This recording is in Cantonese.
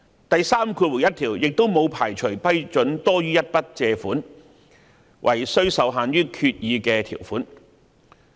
第31條亦沒有排除批准多於一筆借款，惟需受限於決議的條款。